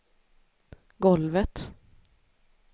golvet